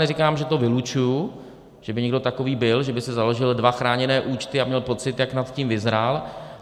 Neříkám, že to vylučuji, že by někdo takový byl, že by si založil dva chráněné účty a měl pocit, jak nad tím vyzrál.